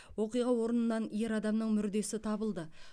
оқиға орнынан ер адамның мүрдесі табылды